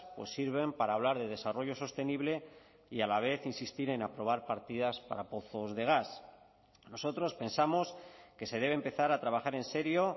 pues sirven para hablar de desarrollo sostenible y a la vez insistir en aprobar partidas para pozos de gas nosotros pensamos que se debe empezar a trabajar en serio